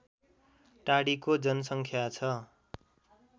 टाडीको जनसङ्ख्या छ